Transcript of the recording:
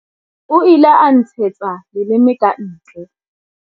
O ile a nntshetsa leleme ka ntle.